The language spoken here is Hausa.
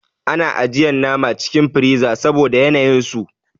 Ana ajiyan nama cikin friza saboda yanayin su.